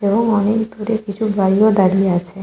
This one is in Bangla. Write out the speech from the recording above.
এবং অনেক দূরে কিছু গাড়ি ও দাঁড়িয়ে আছে।